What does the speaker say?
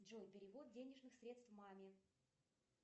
джой перевод денежных средств маме